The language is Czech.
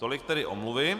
Tolik tedy omluvy.